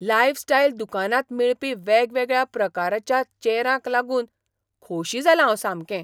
Lifestyle दुकानांत मेळपी वेगवेगळ्या प्रकारच्या चेरांक लागून खोशी जालां हांव सामकें.